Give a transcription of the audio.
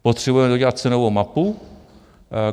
Potřebujeme dodělat cenovou mapu.